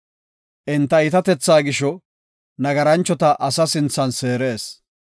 Enta iitatethaa gisho, nagaranchota asa sinthan seerees.